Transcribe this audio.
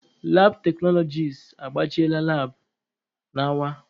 Labụ teknọlọgis agbachiela labụ nawa.